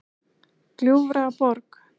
Gljúfraborg